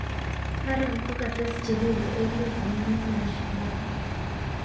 Haron kokates jeripe emet amun en alshaab